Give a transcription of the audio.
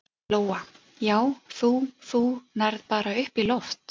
Lóa: Já, þú, þú nærð bara upp í loft?